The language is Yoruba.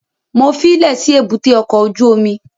Mo fílẹ̀ sí èbúté ọkọ̀ ojú omi